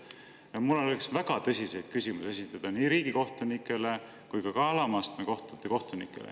Ja mul oleks väga tõsiseid küsimusi esitada nii riigikohtunikele kui ka alama astme kohtute kohtunikele.